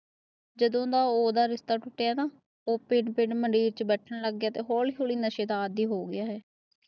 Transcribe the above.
ਜਦੋਂ ਦਾ ਓਹਦਾ ਰਿਸ਼ਤਾ ਟੁਟਿਆ ਨਾ ਪਿੰਡ ਪਿੰਡ ਮੰਡੀਰ ਚ ਬੈਠਣ ਲੱਗ ਪਿਆ ਐ, ਤਾ ਹੋਲੀ ਹੋਲੀ ਨਸ਼ੇ ਦਾ ਆਦਿ ਹੋ ਗਿਆ ਹੈ